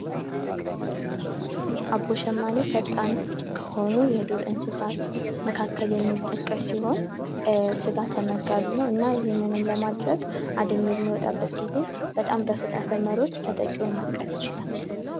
አቦሸማኔ ፈጣን ከሆኑት የዱር እንስሳት መካከል የሚጠቀስ ሲሆን ስጋ ተመጋቢ ነው እና ይህንንም ለማድረግ አደን በሚወጣበት ጊዜ በጣም በፍጥነት በመሮጥ በማጥቃት ነው።